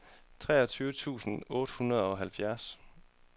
treogtyve tusind otte hundrede og halvfjerds